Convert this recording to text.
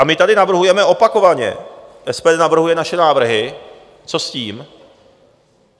A my tady navrhujeme opakovaně, SPD navrhuje naše návrhy, co s tím.